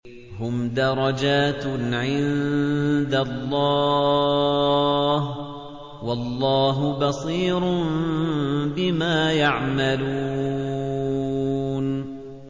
هُمْ دَرَجَاتٌ عِندَ اللَّهِ ۗ وَاللَّهُ بَصِيرٌ بِمَا يَعْمَلُونَ